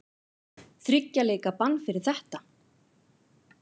Þriggja leikja bann fyrir þetta?